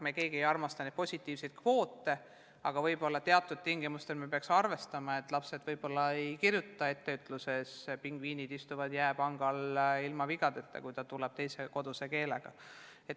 Me keegi ei armasta neid kvoote, aga võib-olla teatud tingimustel me peaksime arvestama, et lapsed võib-olla ei kirjuta etteütluses "Pingviinid istuvad jääpangal." ilma vigadeta, kui nad kodus räägivad teises keeles.